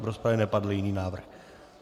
V rozpravě nepadl jiný návrh.